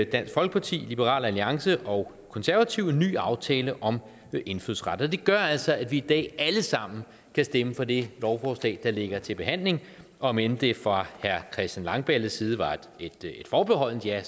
dansk folkeparti liberal alliance og konservative en ny aftale om indfødsret og det gør altså at vi i dag alle sammen kan stemme for det lovforslag der ligger til behandling om end det fra herre christian langballes side var et forbeholdent ja